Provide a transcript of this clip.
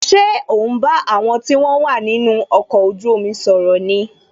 Ṣé o ń bá àwọn tí wọn wà nínú ọkọ̀ ojú omi sọ̀rọ̀ ni